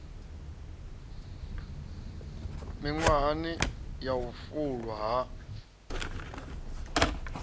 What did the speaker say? miṅwahani ya u fulwa ha